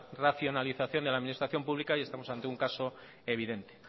racionalización de la administración pública y estamos ante un caso evidente